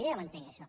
jo ja ho entenc això